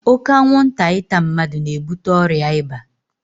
Oke anwụnta ịta mmadụ na-ebute ọrịa ịba.